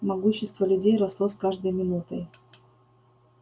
могущество людей росло с каждой минутой